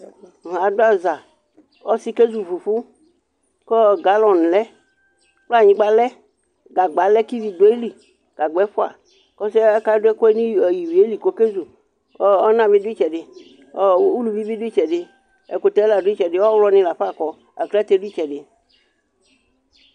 Adʋ aza, ɔsɩ kezu fufu kʋ galɔn lɛ, kplanyɩgba lɛ, gagba lɛ kʋ ivi dʋ ayili, gagba ɛfʋaƆsɩɛ ka dʋ ɛkʋɛ nʋ ivie li kʋ oke zu; ɔna bɩ dʋ ɩtsɛdɩ, uluvi bɩ dʋ ɩtsɛdɩ, ɛkʋtɛ la dʋ ɩtsɛdɩ, ɔɣlɔ nɩ lafa kɔ, aklǝte dʋ ɩtsɛdɩ